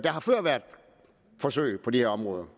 har før været forsøg på det her område